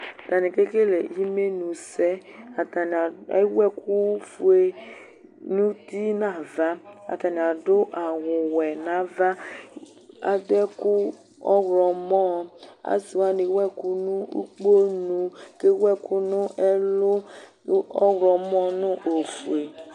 Atani kekele imenusɛ Atani ewu ɛkʊfoe nuti nava Atani adʊ awʊwɛ nava Adʊ ɛkʊ ɔwlɔmɔ Asiwani ewʊɛkʊ nʊ ukponu Ke wɛkʊnʊ ɛlʊ ɔwlɔmɔ nʊ ofoe